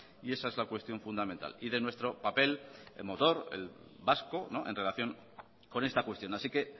y esa es la cuestión fundamental y de nuestro papel el motor vasco en relación con esta cuestión así que